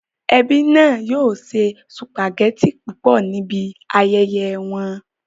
Ẹbí náà yóò se sùpàgẹ́tì púpọ̀ níbi ayẹyẹ wọn